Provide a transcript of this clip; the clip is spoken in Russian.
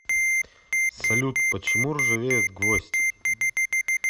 салют почему ржавеет гвоздь